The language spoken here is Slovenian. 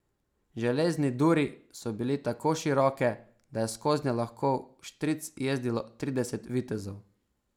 Železne duri so bile tako široke, da je skoznje lahko vštric jezdilo trideset vitezov.